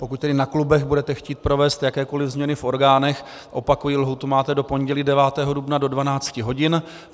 Pokud tedy na klubech budete chtít provést jakékoli změny v orgánech, opakuji, lhůtu máte do pondělí 9. dubna do 12 hodin.